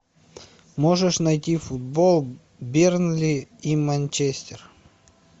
можешь найти футбол бернли и манчестер